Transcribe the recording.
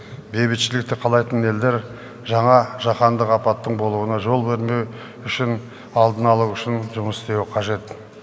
бейбітшілікті қалайтын елдер жаңа жаһандық апаттың болуына жол бермеу үшін алдын алу үшін жұмыс істеуі қажет